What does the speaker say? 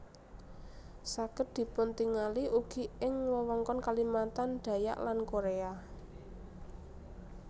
Saged dipuntingali ugi ing wewengkon Kalimantan Dayak lan Korea